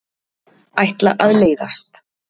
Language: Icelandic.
Ætla að leiðast.